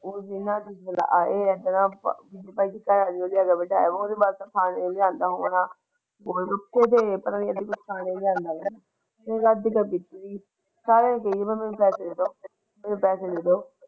ਉਹ ਆਪਣਾ ਖਾਣ ਨੂੰ ਲਿਆ ਆਂਦਾ।